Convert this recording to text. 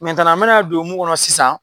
n bɛna don mun kɔnɔ sisan